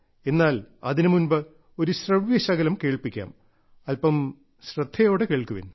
എന്നാൽ അതിനുമുമ്പ് ഞാൻ നിങ്ങളെ ഒരു ശ്രവ്യശകലം കേൾപ്പിക്കാം അല്പം ശ്രദ്ധയോടെ കേൾക്കുവിൻ